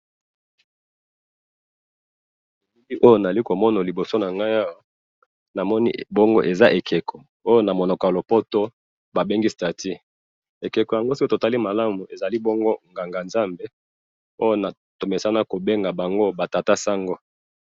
ewana nazali komona liboso nanga awa namoni bongo eza ekeko oyo namonaka lopoto babengi status ekoko ango soki totali malamu ezali bongo nganga zambe oyo tomesana kobenga bango ba tata sango